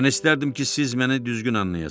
Mən istərdim ki, siz məni düzgün anlayasız.